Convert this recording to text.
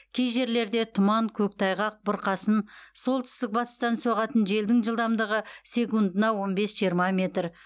кей жерлерде тұман көктайғақ бұрқасын солтүстік батыстан соғатын желдің жылдаимдығы секундына он бес жиырма метр